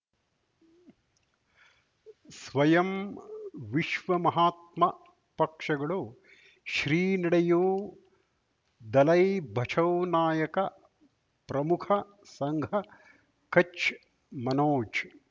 ಸ್ವಯಂ ವಿಶ್ವ ಮಹಾತ್ಮ ಪಕ್ಷಗಳು ಶ್ರೀ ನಡೆಯೂ ದಲೈ ಬಚೌ ನಾಯಕ ಪ್ರಮುಖ ಸಂಘ ಕಚ್ ಮನೋಜ್